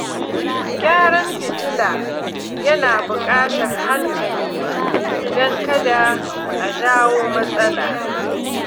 Gyaran fitila yana buƙatar hankali don kada a jawo matsala.